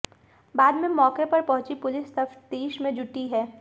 बाद में मौके पर पहुंची पुलिस तफ्तीश में जुटी है